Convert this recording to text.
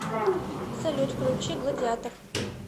салют включи гладиатор